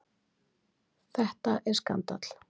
Þetta er skandal!